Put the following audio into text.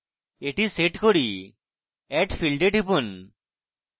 এটি set করি add field এ টিপুন